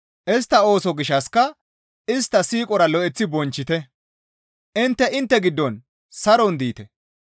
Istta ooso gishshassika istta siiqora lo7eththi bonchchite; intte intte giddon saron diite.